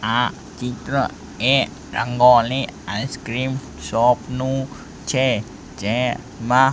આ ચિત્ર એ રંગોલી આઈસ્ક્રીમ શોપ નું છે જેમાં--